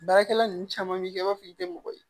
Baarakɛla ninnu caman bɛ kɛ i b'a fɔ i bɛ mɔgɔ ye